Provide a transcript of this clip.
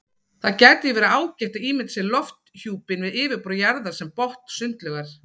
Það gæti því verið ágætt að ímynda sér lofthjúpinn við yfirborð jarðar sem botn sundlaugar.